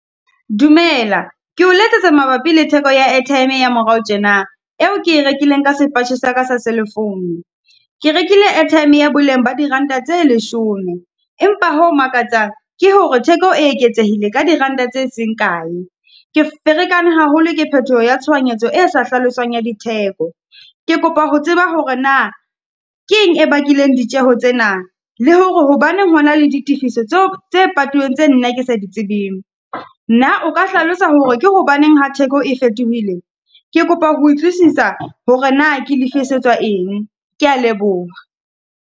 Dumela, ke o letsetsa mabapi le theko ya airtime ya morao tjena, eo ke rekileng ka sepatjhe sa ka sa cell-e foune. Ke rekile airtime ya boleng ba diranta tse leshome empa ho makatsang, ke hore theko e eketsehileng ka diranta tse seng kae. Ke ferekane haholo ke phethoho ya tshohanyetso e sa hlaloswang ya ditheko. Ke kopa ho tseba hore na keng e bakileng ditjeho tsena, le hore hobaneng hona le di tifiso tseo, tse patuweng tse nna ke sa ditsebeng? Na o ka hlalosa hore ke hobaneng ha theko e fetohile? Ke kopa ho utlwisisa hore na ke lefe setswa eng? Ke ya leboha.